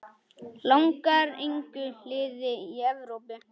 Langar engu liði í Evrópu?